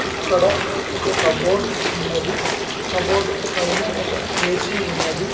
ఇక్కడ ఒక కబోర్డ్ ఉన్నది కబోర్డ్ పైన ఒక హేసి ఉన్నది .